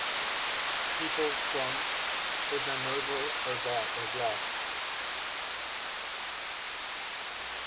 people from ivanovo oblast